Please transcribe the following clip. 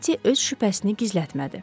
Etti öz şübhəsini gizlətmədi.